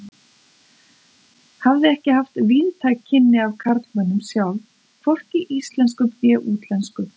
Hafði ekki haft víðtæk kynni af karlmönnum sjálf, hvorki íslenskum né útlenskum.